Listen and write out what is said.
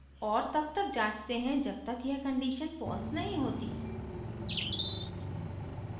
और तब तक जाँचते हैं जब तक यह condition false नहीं होती